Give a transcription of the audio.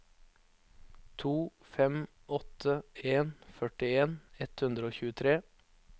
to fem åtte en førtien ett hundre og tjuetre